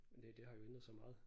Men det det har jo ændret sig meget